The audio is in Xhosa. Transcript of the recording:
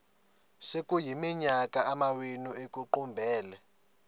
sekuyiminyaka amawenu ekuqumbele